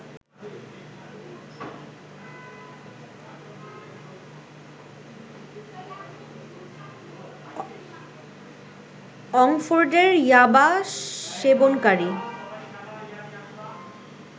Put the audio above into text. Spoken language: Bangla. অঙ্ফোর্ডের ইয়াবা সেবনকারী